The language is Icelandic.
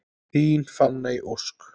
Þín Fanney Ósk.